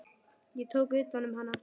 Ég tók utan um hana.